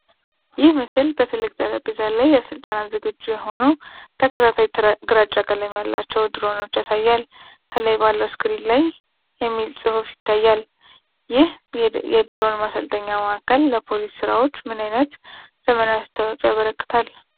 ይህ ምስል በትልቅ ጠረጴዛ ላይ ለስልጠና ዝግጁ የሆኑ ተከታታይ ግራጫ ቀለም ያላቸው ድሮኖች ያሳያል። ከኋላ ባለው ስክሪን ላይ" የሚል ጽሑፍ ይታያል። ይህ የድሮን ማሰልጠኛ ማዕከል ለፖሊስ ሥራዎች ምን አይነት ዘመናዊ አስተዋፅኦ ያበረክታል?